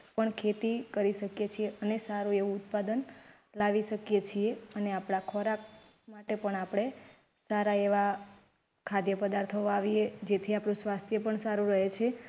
પણ ખેતી કરી શકે છે અને સારુંએવું ઉત્પાદન લાવી શકીએ છીએ અને આપણા ખોરાક માટે પણ આપડે સારા એવા ખાધ્ય પદાર્થો વાવી એ જેથી આપડું સ્વાસ્થ્ય પણ સારું રહે છે